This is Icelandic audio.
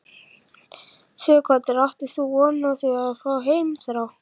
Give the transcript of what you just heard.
Sighvatur: Áttir þú von á því að fá heimþrá?